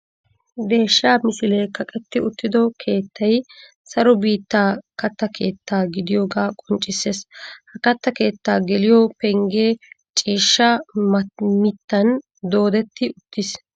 Deeshshaa misilee kaqetti uttido keettay saro biittaa katta keetta gidiyoogaa qonccisses. Ha katta keetta geliyo penggee ciishshaa mittan doodetti uttiis.